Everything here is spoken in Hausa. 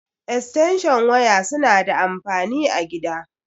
Eatenshin waya suna da anfani a gida.